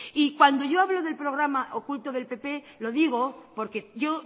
y cuando yo hablo del programa oculto del pp lo digo porque yo